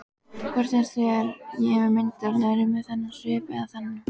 Hvort finnst þér ég myndarlegri með þennan svip eða þennan?